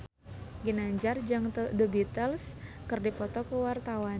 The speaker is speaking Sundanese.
Ginanjar jeung The Beatles keur dipoto ku wartawan